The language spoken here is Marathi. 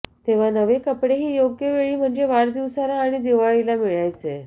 तेव्हा नवे कपडेही योग्य वेळी म्हणजे वाढदिवसाला आणि दिवाळीला मिळायचे